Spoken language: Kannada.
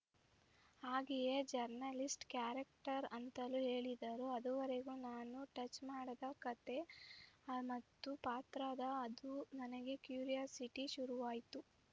ಹಾಗೆಯೇ ಜರ್ನಲಿಸ್ಟ‌ ಕ್ಯಾರೆಕ್ಟರ್‌ ಅಂತಲೂ ಹೇಳಿದರು ಅದುವರೆಗೂ ನಾನು ಟಚ್‌ ಮಾಡದ ಕತೆ ಮತ್ತು ಪಾತ್ರದ ಅದು ನನಗೆ ಕ್ಯೂರಿಯಾಸಿಟಿ ಶುರುವಾಯ್ತು